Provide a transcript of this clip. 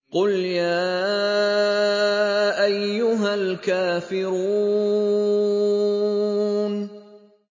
قُلْ يَا أَيُّهَا الْكَافِرُونَ